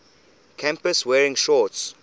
campus wearing shorts